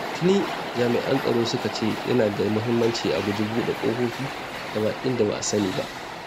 Tuni jami'an tsaro suka ce yana da muhimmanci a guji buɗe ƙofofi ga baƙin da ba a sani ba.